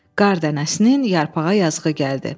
Qar dənəsinin yarpağa yazığı gəldi.